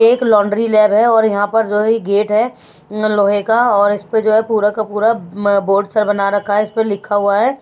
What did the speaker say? एक laundry lab है और यहाँ पर जो है ये गेट है लोहे का और इस पर जो है पूरा का पूरा म बोर्ड सा बना रखा है इस पर लिखा हुआ है।